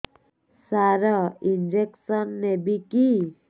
ସାର injection ନେବିକି